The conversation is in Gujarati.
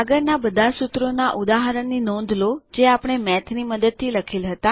આગળના બધા સૂત્રોના ઉદાહરણ ની નોંધ લો જે આપણે મેઠની મદદથી લખેલ હતા